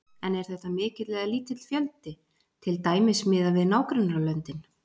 En er þetta mikill eða lítill fjöldi, til dæmis miðað við nágrannalöndin?